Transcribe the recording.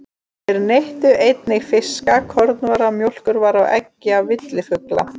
Þeir neyttu einnig fisks, kornvara, mjólkurvara og eggja villifugla.